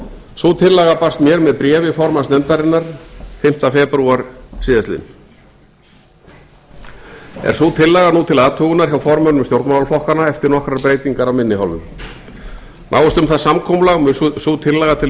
sú tillaga barst mér með bréfi formanns nefndarinnar fimmta febrúar síðastliðinn er sú tillaga nú til athugunar hjá formönnum stjórnmálaflokkanna eftir nokkrar breytingar af minni hálfu náist um það samkomulag mun sú tillaga til